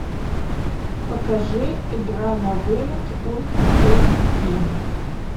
покажи игра на вылет ультра эйч ди